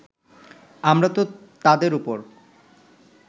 আমরা তো তাদের ওপর